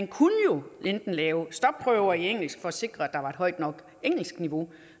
kunne jo enten lave stopprøver i engelsk for at sikre at der var et højt nok engelskniveau